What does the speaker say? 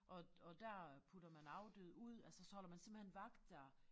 Og og dér putter man afdøde ud altså så holder man simpelthen vagt der